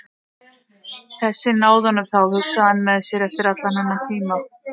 Þeir náðu honum þá, hugsaði hann með sér, eftir allan þennan tíma.